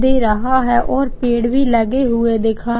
दे रहा है और पेड़ भी लगे हुए दिखाई --